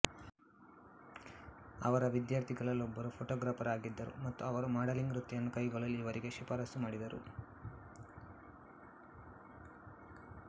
ಅವರ ವಿದ್ಯಾರ್ಥಿಗಳಲ್ಲೊಬ್ಬರು ಫೋಟೋಗ್ರಾಫರ್ ಆಗಿದ್ದರು ಮತ್ತು ಅವರು ಮಾಡೆಲಿಂಗ್ ವೃತ್ತಿಯನ್ನು ಕೈಗೊಳ್ಳಲು ಇವರಿಗೆ ಶಿಫಾರಸು ಮಾಡಿದರು